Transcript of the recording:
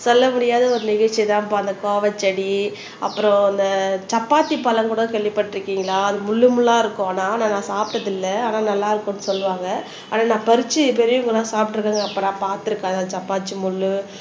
சொல்ல முடியாத ஒரு நிகழ்ச்சிதான்ப்பா அந்த கோவச்செடி, அப்புறம் அந்த சப்பாத்தி பழம்கூட கேள்விப்பட்டிருக்கீங்களா அது முள்ளு முள்ளா இருக்கும். ஆனா நான் சாப்பிட்டது இல்லை ஆனா நல்லா இருக்கும்னு சொல்லுவாங்க ஆனா நான் பறிச்சு பெரியவங்கெல்லாம் சாப்பிட்டிருக்கேங்க அப்ப நான் பார்த்திருக்கேன் சப்பாத்தி முள்ளு